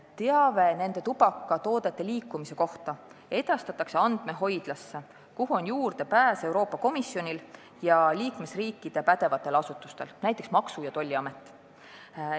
Teave nende tubakatoodete liikumise kohta edastatakse andmehoidlasse, kuhu on juurdepääs Euroopa Komisjonil ja liikmesriikide pädevatel asutustel, näiteks meie Maksu- ja Tolliametil.